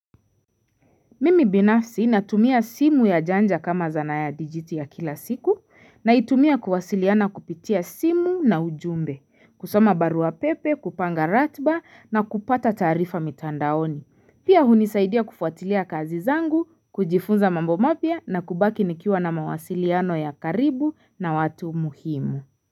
Mimi binafsi natumia simu ya janja kama zana ya dijiti ya kila siku naitumia kuwasiliana kupitia simu na ujumbe, kusoma baruwa pepe, kupanga ratiba na kupata taarifa mitandaoni. Pia hunisaidia kufuatilia kazi zangu, kujifunza mambo mapya na kubaki nikiwa na mawasiliano ya karibu na watu muhimu.